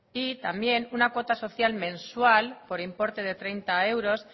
y también una cuota social mensual por importe de treinta euros